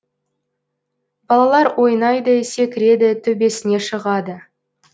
балалар ойнайды секіреді төбесіне шығады